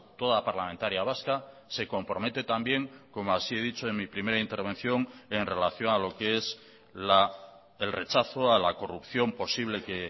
toda parlamentaria vasca se compromete también como así he dicho en mi primera intervención en relación a lo que es el rechazo a la corrupción posible que